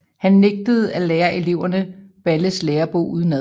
Han nægtede at lære eleverne Balles Lærebog udenad